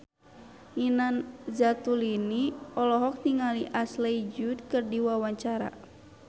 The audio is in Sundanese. Nina Zatulini olohok ningali Ashley Judd keur diwawancara